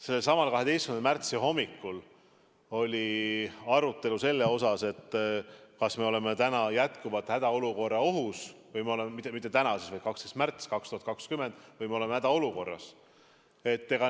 Sellesama 12. märtsi hommikul oli arutelu selle üle, kas me oleme jätkuvalt hädaolukorra ohus või oleme hädaolukorras.